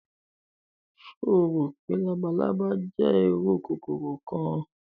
Ṣe o ro pe labalaba jẹ iru kokoro kan?